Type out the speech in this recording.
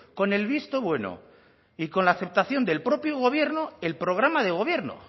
con el visto bueno y con la aceptación del propio gobierno el programa de gobierno